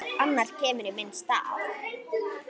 Annar kemur í minn stað.